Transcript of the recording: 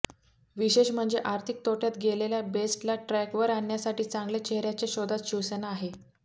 विशेष म्हणजे आर्थिक तोट्यात गेलेल्या बेस्टला ट्रॅकवर आणण्यासाठी चांगल्या चेहर्याच्या शोधात शिवसेना आहे